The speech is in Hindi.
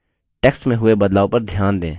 text में हुए बदलाव पर ध्यान दें